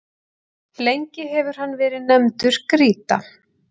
lengi hefur hann verið nefndur grýta